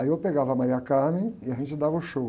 Aí eu pegava a e a gente dava o show.